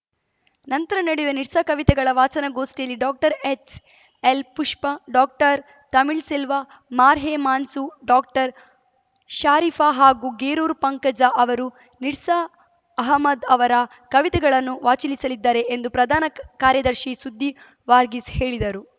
ನಂತರ ನಡೆಯುವ ನಿರ್ಸಾ ಕವಿತೆಗಳ ವಾಚನ ಗೋಷ್ಠಿಯಲ್ಲಿ ಡಾಕ್ಟರ್ಎಚ್‌ಎಲ್‌ಪುಷ್ಪ ಡಾಕ್ಟರ್ತಮಿಳ್ ಸೆಲ್ವ ಮಾಹೇರ್‌ ಮನ್ಸೂ ಡಾಕ್ಟರ್ಷರಿಫಾ ಹಾಗೂ ಗೇರೂರು ಪಂಕಜ ಅವರು ನಿರ್ಸಾ ಅಹಮದ್‌ ಅವರ ಕವಿತೆಗಳನ್ನು ವಾಚಿಲಿಸಿದ್ದಾರೆ ಎಂದು ಪ್ರಧಾನ ಕಾರ್ಯದರ್ಶಿ ಸುದ್ದಿ ವಾರ್ಗೀಸ್‌ ಹೇಳಿದರು